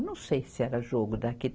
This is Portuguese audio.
Não sei se era jogo daqui.